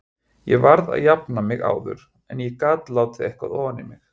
Ég varð að jafna mig áður en ég gat látið eitthvað ofan í mig.